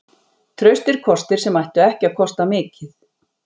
Traustir kostir sem ættu ekki að kosta mikið.